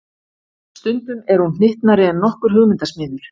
Stundum er hún hnyttnari en nokkur hugmyndasmiður.